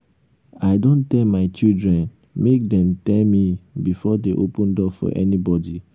i don tell my children make dem tell me before dey open door for anybody